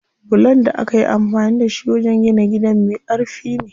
Bulon da akayi amfani da shi wajen gina gidan me ƙarfi ne.